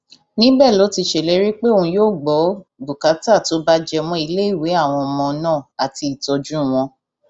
níbẹ ló ti ṣèlérí pé òun yóò gbọ bùkátà tó bá jẹ mọ iléèwé àwọn ọmọ náà àti ìtọjú wọn